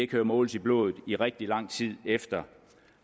kan måles i blodet i rigtig lang tid efter